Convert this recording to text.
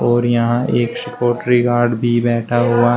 और यहां एक सिक्योटरि गार्ड भी बैठा हुआ--